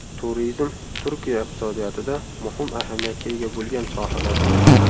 Turizm Turkiya iqtisodiyotida muhim ahamiyatga ega bo‘lgan sohalardan.